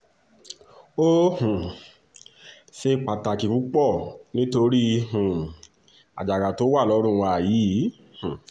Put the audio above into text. ó um ṣe pàtàkì púpọ̀ nítorí um àjàgà tó wà lọ́rùn wa yìí